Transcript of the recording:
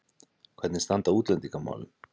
Hvernig standa útlendingamálin?